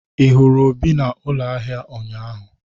Ị hụrụ Obi na ụlọ ahịa ụnyaahụ?